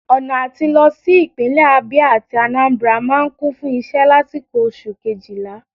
Ọna atí lọ si ipinlẹ Abia atí Anambra maa n Kun fun iṣẹ lasiko Oṣu kejila